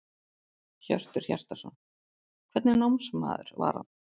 Hjörtur Hjartarson: Hvernig námsmaður var hann?